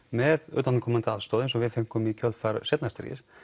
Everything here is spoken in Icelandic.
með utanaðkomandi aðstoð eins og við fengum í kjölfar seinna stríðs